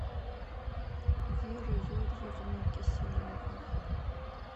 веры юрьевны киселевой